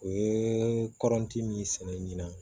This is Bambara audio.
U ye kɔrɔnti min sɛnɛ ɲinan